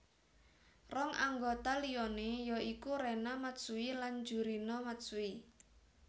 Rong anggota liané ya iku Rena Matsui lan Jurina Matsui